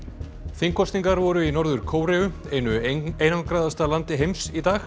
þingkosningar voru í Norður Kóreu einu einangraðasta landi heims í dag